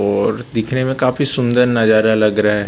और दिखने में काफी सुंदर नजारा लग रहा है।